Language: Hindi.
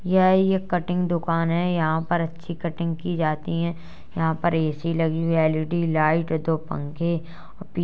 यह एक कटिंग दुकान है। यहाॅं पर अच्छी कटिंग की जाती है। यहाँ पर ए_सी लगी हुई एल_ई_डी लाइट दो पंखे --